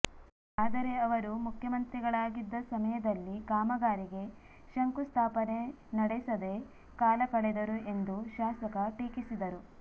ಆದರೆ ಅವರು ಮುಖ್ಯಮಂತ್ರಿಗಳಾಗಿದ್ದ ಸಮಯದಲ್ಲಿ ಕಾಮಗಾರಿಗೆ ಶಂಕುಸ್ಥಾಪನೆ ನಡೆಸದೆ ಕಾಲಕಳೆದರು ಎಂದು ಶಾಸಕ ಟೀಕಿಸಿದರು